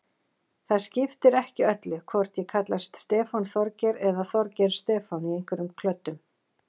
Það skiptir ekki öllu hvort ég kallast Stefán Þorgeir eða Þorgeir Stefán í einhverjum klöddum.